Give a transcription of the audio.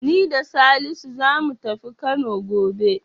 Ni da Salisu zamu tafi Kano gobe.